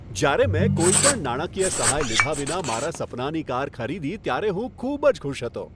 જ્યારે મેં કોઈપણ નાણાકીય સહાય લીધા વિના મારા સપનાની કાર ખરીદી ત્યારે હું ખૂબ જ ખુશ હતો.